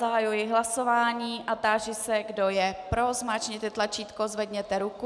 Zahajuji hlasování a táži se, kdo je pro, zmáčkněte tlačítko, zvedněte ruku.